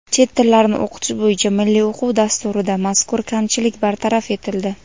Chet tillarni o‘qitish bo‘yicha Milliy o‘quv dasturida mazkur kamchilik bartaraf etildi.